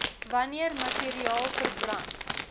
wanneer materiaal verbrand